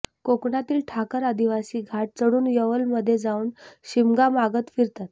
कोकणातील ठाकर आदिवासी घाट चढून यावलमध्ये जाऊन शिमगा मागत फिरतात